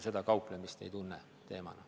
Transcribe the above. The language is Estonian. Liina Kersna, palun!